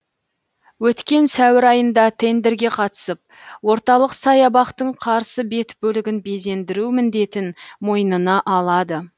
өткен сәуір айында тендрге қатысып орталық саябақтың қарсы бет бөлігін безендіру міндетін мойнына алады